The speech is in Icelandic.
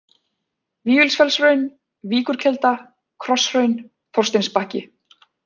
Vífilsfellshraun, Víkurkelda, Krosshraun, Þorsteinsbakki